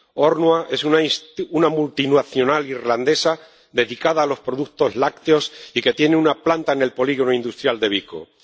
Ornua es una multinacional irlandesa dedicada a los productos lácteos y que tiene una planta en el polígono industrial de Vicolozano.